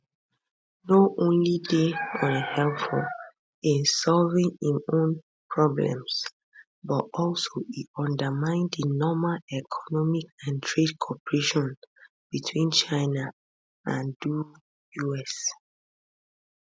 no only dey unhelpful in solving im own problems but also e undermine di normal economic and trade cooperation between china and do us